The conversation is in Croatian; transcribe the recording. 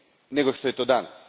nego što je to danas.